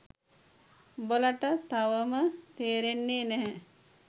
උඹලට තවම තේරෙන්නේ නැහැ